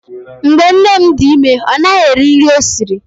Mgbe nne m dị ime, ọ naghị eri nri ọ sịrị.